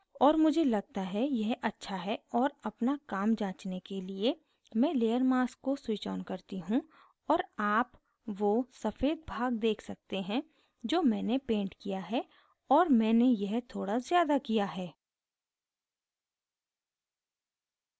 और मुझे लगता है यह अच्छा है और अपना काम जांचने के लिए मैं layer mask को switch on करती हूँ और आप वो सफ़ेद भाग check सकते हैं जो मैंने painted किया है और मैंने यह थोड़ा ज़्यादा किया है